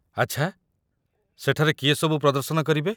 ଆଚ୍ଛା, ସେଠାରେ କିଏ ସବୁ ପ୍ରଦର୍ଶନ କରିବେ?